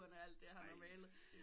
Alt det han har malet